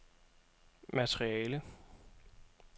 materiale